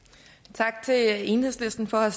tak til enhedslisten for at